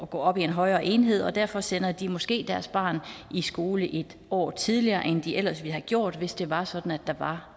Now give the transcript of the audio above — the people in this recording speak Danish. gå op i en højere enhed derfor sender de måske deres barn i skole en år tidligere end de ellers ville have gjort hvis det var sådan at der var